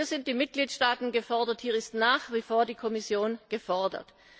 Hier sind die Mitgliedstaaten gefordert, und hier ist nach wie vor die Kommission gefordert.